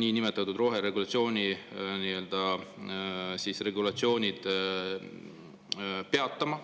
niinimetatud roheregulatsioonid peatama.